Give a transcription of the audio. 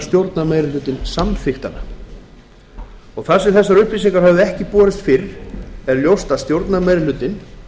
stjórnarmeirihlutinn samþykkti hana þar sem þessar upplýsingar höfðu ekki borist fyrr liggur fyrir að stjórnarmeirihlutinn